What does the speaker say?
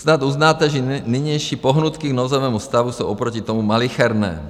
Snad uznáte, že nynější pohnutky k nouzovému stavu jsou oproti tomu malicherné.